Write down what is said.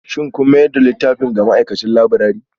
Shin kun mayar da littafin ga ma'aikacin laburare?